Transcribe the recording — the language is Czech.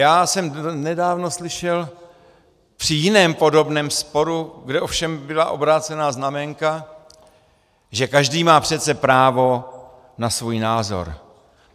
Já jsem nedávno slyšel při jiném podobném sporu, kde ovšem byla obrácená znaménka, že každý má přece právo na svůj názor.